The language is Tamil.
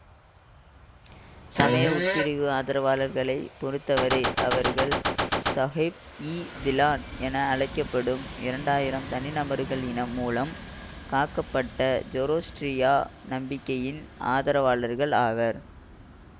சமய உட்பிரிவு ஆதரவாளர்களை பொறுத்தவரை அவர்கள் சாஹேப்இதிலான் என அழைக்க படும் இரண்டாயிரம் தனிநபர்களின் இனம் மூலமாக காக்கப்பட்ட ஜோரோஸ்ட்ரிய நம்பிக்கையின் ஆதரவாளர்கள் ஆவர்